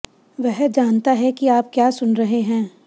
वह जानता है कि आप क्या सुन रहे हैं